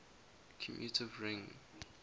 commutative ring